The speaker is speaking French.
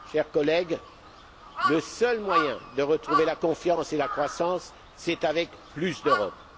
Chers collègues, le seul moyen de retrouver la confiance et la croissance, c'est avec plus d'Europe.